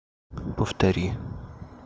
повтори